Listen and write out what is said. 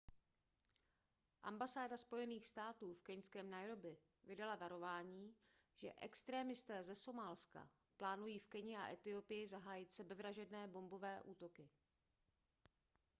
ambasáda spojených států v keňském nairobi vydala varování že extrémisté ze somálska plánují v keni a etiopii zahájit sebevražedné bombové útoky